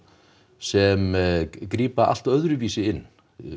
sem grípa allt öðruvísi inn